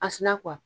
A sina